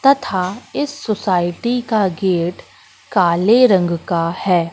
तथा इस सोसायटी का गेट काले रंग का है।